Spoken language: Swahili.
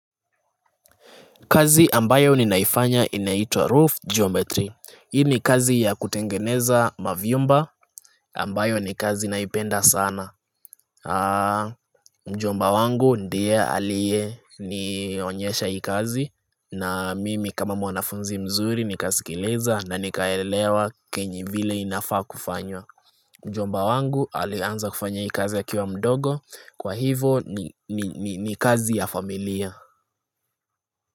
Kazi ambayo ninaifanya inaitwa Roof Geometry. Hii ni kazi ya kutengeneza mavyumba ambayo ni kazi naipenda sana Mjomba wangu ndiye aliyenionyesha hii kazi na mimi kama mwanafunzi mzuri nikasikiliza na nikaelewa kenye vile inafaa kufanywa Mjomba wangu alianza kufanya hii kazi akiwa mdogo kwa hivo ni kazi ya familia.